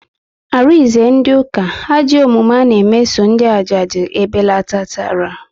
Arinze ndị ụka, ajọ omume ana meso ndị ajadu ebelatatara